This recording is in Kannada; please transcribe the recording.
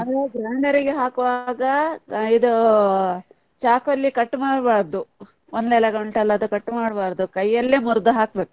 ಅಂದ್ರೆ grinder ಗೆ ಹಾಕುವಾಗ ಆ ಇದು ಚಾಕು ಅಲ್ಲಿ cut ಮಾಡಬಾರ್ದು, ಒಂದೆಲಗ ಉಂಟಲ್ಲ ಅದು cut ಮಾಡಬಾರ್ದು, ಕೈಯಲ್ಲೆ ಮುರ್ದು ಹಾಕ್ಬೇಕು.